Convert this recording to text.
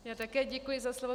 Já také děkuji za slovo.